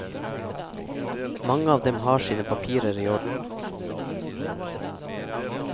Mange av dem har sine papirer i orden.